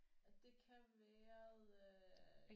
Og det kan være øh